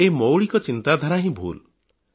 ଏହି ମୌଳିକ ଚିନ୍ତାଧାରା ହିଁ ଭୁଲ୍